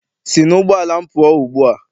Sị n'ụgbọala m pụọ ugbua!